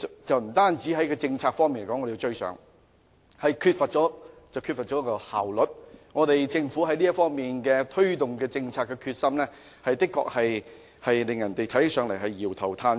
我們在政策方面不能趕上，亦缺乏效率，政府就這方面推動政策的決心，的確讓人搖頭嘆息。